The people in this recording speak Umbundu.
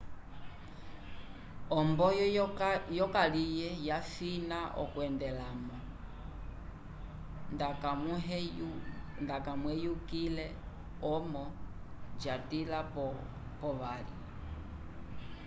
o omboyo yocalye yafina okwendelamo nda camuheyukile momo jatila po vali